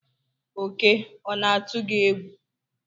Oke ona-atụ gị egwu?